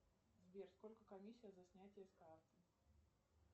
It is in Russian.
сбер сколько комиссия за снятие с карты